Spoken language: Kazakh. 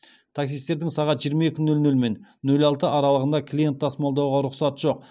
таксистердің сағат жиырма екі нөл нөл мен нөл алты аралығында клиент тасымалдауға рұқсат жоқ